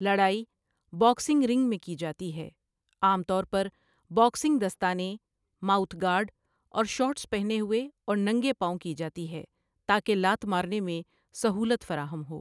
لڑائی boxing ring میں کی جاتی ہے، عام طور پر باکسنگ دستانے، ماؤتھ گارڈ اور شارٹس پہنے ہوئے، اور ننگے پاؤں کی جاتی ہے تاکہ لات مارنے میں سہولت فراہم ہو۔